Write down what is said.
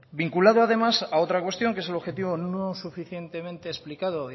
vinculado además a otra cuestión que es el objetivo no suficientemente explicado